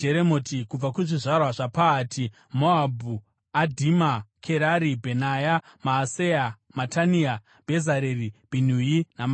Kubva kuzvizvarwa zvaPahati Moabhu: Adhima, Kerari, Bhenaya, Maaseya, Matania, Bhezareri, Bhinui naManase.